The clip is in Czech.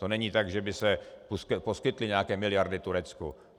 To není tak, že by se poskytly nějaké miliardy Turecku.